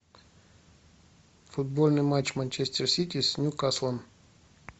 футбольный матч манчестер сити с ньюкаслом